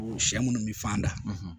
Sɛ minnu bɛ fan da